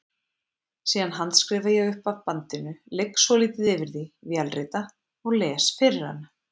Síðan handskrifa ég upp af bandinu, ligg svolítið yfir því, vélrita og les fyrir hana.